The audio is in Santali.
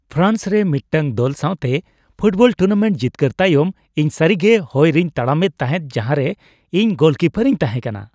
ᱯᱷᱨᱟᱱᱥ ᱨᱮ ᱢᱤᱫᱴᱟᱝ ᱫᱚᱞ ᱥᱟᱶᱛᱮ ᱯᱷᱩᱴᱵᱚᱞ ᱴᱩᱨᱱᱟᱢᱮᱱᱴ ᱡᱤᱛᱠᱟᱹᱨ ᱛᱟᱭᱚᱢ, ᱤᱧ ᱥᱟᱹᱨᱤᱜᱮ ᱦᱚᱭ ᱨᱮᱧ ᱛᱟᱲᱟᱢᱮᱫ ᱛᱟᱦᱮᱸᱜ ᱡᱟᱦᱟᱸᱨᱮ ᱤᱧ ᱜᱳᱞᱤᱠᱯᱟᱨ ᱤᱧ ᱛᱟᱦᱮᱸ ᱠᱟᱱᱟ ᱾